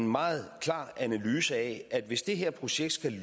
meget klare analyse at hvis det her projekt skal